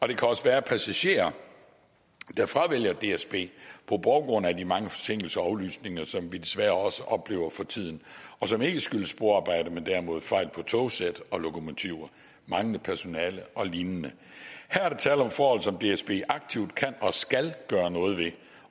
der kan også være passagerer der fravælger dsb på baggrund af de mange forsinkelser og aflysninger som vi desværre også oplever for tiden og som ikke skyldes sporarbejder men derimod fejl på togsæt og lokomotiver manglende personale og lignende her er der tale om forhold som dsb aktivt kan og skal gøre noget ved